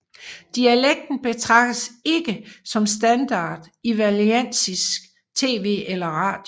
Dialekten betragtes ikke som standard i valenciansk TV eller radio